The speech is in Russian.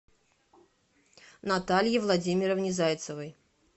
наталье владимировне зайцевой